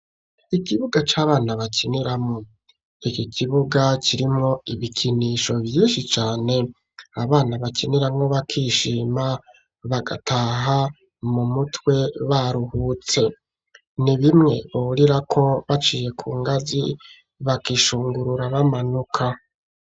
Ikibuga c'abana bakiniramwo iki kibuga kirimwo ibikinisho vyinshi cane abana bakiniramwo bakishima bagataha mu mutwe baruhutse ni bimwe borira ko baciye ku ngazi bakishungurura bamanuka.